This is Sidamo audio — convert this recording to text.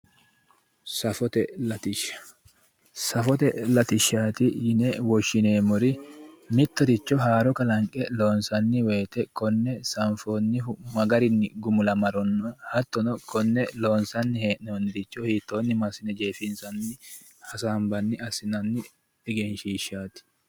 Safote latishsha ,safote latishshati yine woshshineemmori mittoricho haaro kalanqe loonsanni woyte konne sanfonnihu magarinni gumulamanorono hattonno konne loonsanni hee'nonnire hiittonni massine jeefinsanni hasaambanni assinanni egenshishshati.